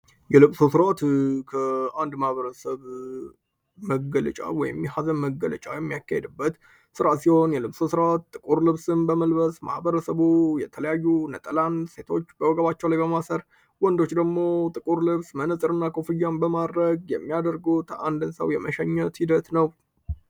የልብሶ ሥራዓትከ1 ማበረሰብ መገልጫ ወሚሐዘም መገለጫው የሚያካሄድበት ሥራ ሲሆን የልብሶ ሥርት ጥቁር ልብስን በመልበስ ማህበረ ሰቡ የተለያዩ ነጠላን ሴቶች በወገባቸው ላይ በማሰር ወንዶች ደግሞ ጥቁር ልብስ መንጽር እና ኮፍያን በማድረግ የሚያደርጎ ተአንድንሰው የመሸኘት ሂደት ነው።